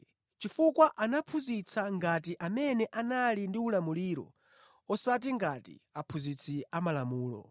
chifukwa anaphunzitsa ngati amene anali ndi ulamuliro osati ngati aphunzitsi amalamulo.